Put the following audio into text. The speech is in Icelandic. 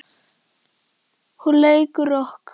Hún leikur rokk.